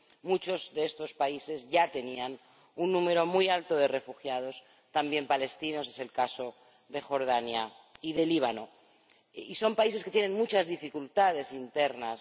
Muchos de estos países ya tenían un número muy alto de refugiados también palestinos —es el caso de Jordania y de Líbano—, y son países que tienen muchas dificultades internas.